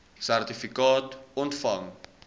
sertifikaat ontvang